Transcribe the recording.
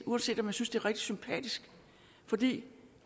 uanset at jeg synes det er rigtig sympatisk fordi